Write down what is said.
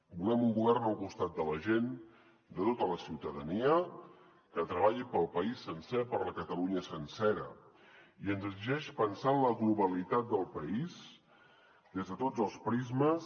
volem un govern al costat de la gent de tota la ciutadania que treballi pel país sencer per la catalunya sencera i ens exigeix pensar en la globalitat del país des de tots els prismes